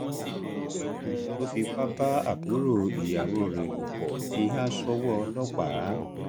ónàrẹbù tó fipá bá àbúrò ìyàwó rẹ lò pọ ti há sọwọ ọlọpàá